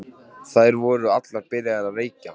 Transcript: Þær voru allar byrjaðar að reykja.